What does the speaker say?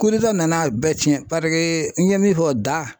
nana a bɛɛ tiɲɛ n ye min fɔ da